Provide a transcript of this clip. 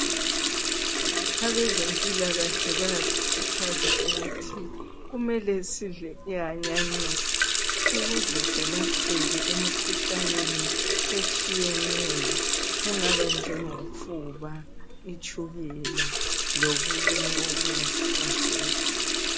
Abezempilakahle bayasikhuthaza ukuthi kumele sidle ihanyanisi ukuze selapheke emikhuhlaneni etshiyeneyo engaba njengofuba, itshukela lokunye okungasihlasela